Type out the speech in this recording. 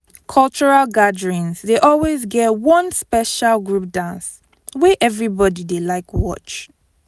cultural gatherings dey always get one special group dance wey everybody dey like watch